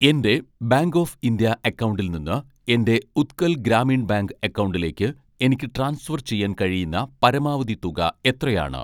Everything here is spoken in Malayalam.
എൻ്റെ ബാങ്ക് ഓഫ് ഇന്ത്യ അക്കൗണ്ടിൽ നിന്ന് എൻ്റെ ഉത്കൽ ഗ്രാമീൺ ബാങ്ക് അക്കൗണ്ടിലേക്ക് എനിക്ക് ട്രാൻസ്ഫർ ചെയ്യാൻ കഴിയുന്ന പരമാവധി തുക എത്രയാണ്